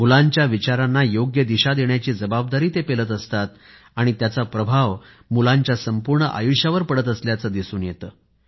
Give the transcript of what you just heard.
मुलांच्या विचारांना योग्य दिशा देण्याची जबाबदारी ते पेलत असतात आणि त्याचा प्रभाव मुलांच्या संपूर्ण आयुष्यावर पडत असल्याचे दिसून येते